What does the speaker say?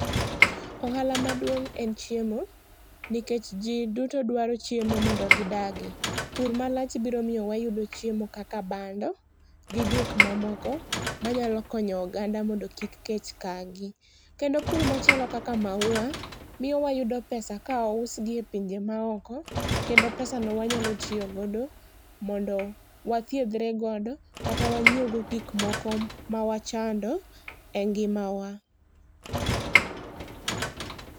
Ohala maduong' en chiemo nikech ji duto dwaro chiemo mondo gi dagi. Pur ma lach biro yudo chiemo kaka bando, gi gik moko ma nya konyo oganda mondo kik kech ka gi. Kendo pur ma chalo kaka maua miyo wayudo pesa ka ousgi e pinje ma oko kendo pesa no wanyalo tiyo go mondo wathiedhre go kata wanyiew gik ma wachando e ngima wa.